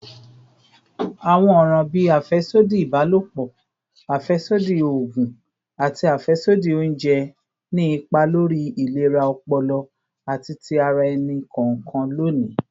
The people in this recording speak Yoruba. Awọn ọran bii afẹsodi ibalopọ, afẹsodi oogun, ati afẹsodi ounjẹ ni ipa lori ilera ọpọlọ ati ti ara ẹni kọọkan loni.